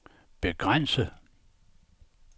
begrænse